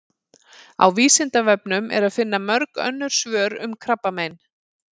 Á Vísindavefnum er að finna mörg önnur svör um krabbamein.